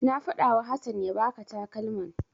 Na faɗawa Hassan ya baka takalman.